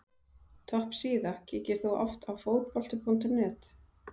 Topp síða Kíkir þú oft á Fótbolti.net?